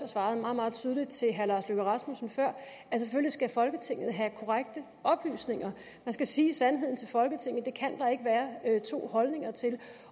svarede meget meget tydeligt til herre lars løkke rasmussen før at selvfølgelig skal folketinget have korrekte oplysninger man skal sige sandheden til folketinget det kan der ikke være to holdninger til